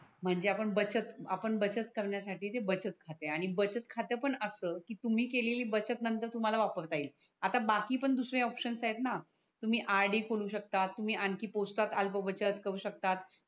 म्हणजे आपण बचत आपण बचत करण्यासाठी जे बचत खाते आहे आणि बचत खाते पण अस की तुम्ही केलेली बचत नंतर तुम्हाला वापरता येईल आता बाकी पण दुसरे ऑप्शन आहेत णा तुम्ही RD खोलू शकतात तुम्ही आणखि पोस्ट अल्बबचत करू शकतात